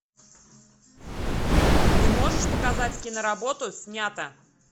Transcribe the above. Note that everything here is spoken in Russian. ты можешь показать киноработу снято